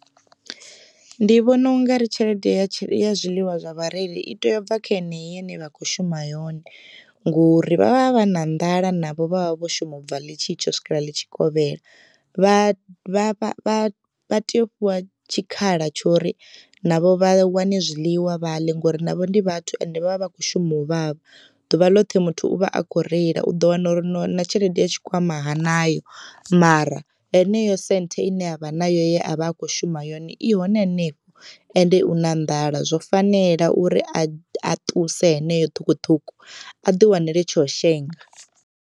Ndi vhona ungari tshelede ya zwiḽiwa vhareili i tea u bva kha yeneyi ine vha kho shuma yone ngori vha vha vha na nḓala navho vha vha vho shuma ubva ḽitshi tsha u swikela ḽitshi kovhela, vha vha tea u fhiwa tshikhala tsho uri navho vha wane zwiḽiwa vhaḽe ngori navho ndi vhathu ende vhavha vha kho shuma u vhavha ḓuvha ḽoṱhe muthu uvha akho reila u ḓo wana uri na tshelede ya tshikwama hanayo mara heneyo senthe ine avha nayo ye a vha akho shuma yone i hone hanefho ende u na nḓala zwo fanela uri a ṱuse heneyo ṱhukhuṱhukhu a ḓi wanele tsho shenga.